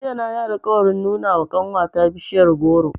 Jiya na yi alƙawarin nuna wa ƙanwata bishiyar goro.